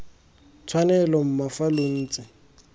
tshwanelo mma fa lo ntse